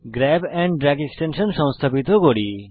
grab and drag extension সংস্থাপিত করি